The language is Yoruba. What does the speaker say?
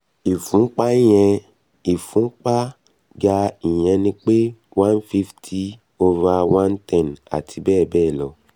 ìfúnpá yen ìfúnpá ga ìyẹn ni pé one fifty over one ten àti bẹ́ẹ̀ bẹ́ẹ̀ lọ